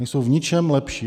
Nejsou v ničem lepší.